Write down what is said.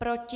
Proti?